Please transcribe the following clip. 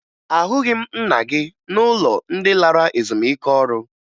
Ahụghị m nna gị n'ụlọ ndị lara ezumike ọrụ